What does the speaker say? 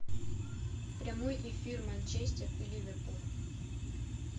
прямой эфир манчестер и ливерпуль